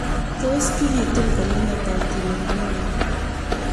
Tos' kikitun konyil ata Otile Brown